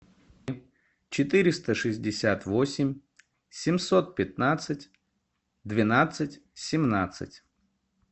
четыреста шестьдесят восемь семьсот пятнадцать двенадцать семнадцать